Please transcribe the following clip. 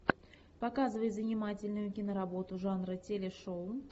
показывай занимательную киноработу жанра телешоу